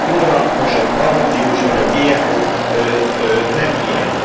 A klórral mosott baromfihús vagy a GMO nem ilyen.